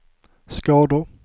skador